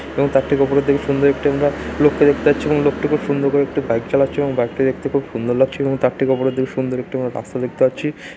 এবং তার ঠিক উপরের দিকে সুন্দর একটি আমরা লোককে দেখতে পাচ্ছি এবং লোকটি খুব সুন্দর করে একটি বাইক চালাচ্ছে এবং বাইক টি দেখতে খুব সুন্দর লাগছে এবং তার ঠিক উপরের দিকে সুন্দর একটি করে রাস্তা দেখতে পাচ্ছি।